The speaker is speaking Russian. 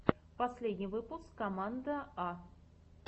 последний выпуск команда а